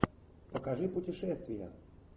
покажи путешествия